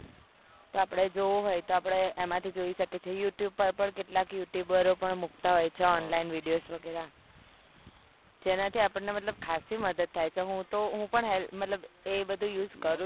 તો આપડે જોવો હોય તો આપણે એમાં થી જોઈ શકીએ છીએ youtube પર પણ કેટલા youtuber પણ મુકતા હોય છે online video વેગેરા જેનાથી આપણે મતલબ ખાસી મદદ થાય છે મતલબ હું પણ એ બધું use કરું છું